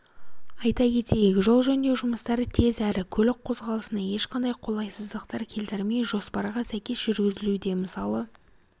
айта кетейік жол жөндеу жұмыстары тез әрі көлік қозғалысына ешқандай қолайсыздықтар келтірмей жоспарға сәйкес жүргізілуде мысалы